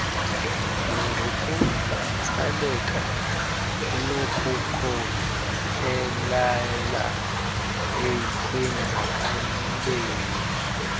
nangokutsaleka kunokukhokelela ekwenzakaleni